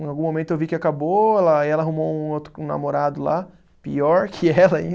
Em algum momento eu vi que acabou, ela aí ela arrumou um outro com namorado lá, pior que ela ainda